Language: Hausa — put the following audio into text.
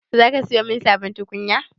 Za ka siyo mun sabon tukunya?